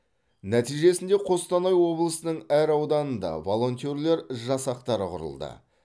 нәтижесінде қостанай облысының әр ауданында волонтерлер жастақтары құрылды